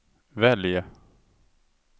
välj